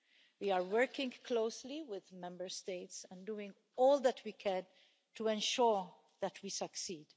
We are working closely with Member States and doing all that we can to ensure that we succeed.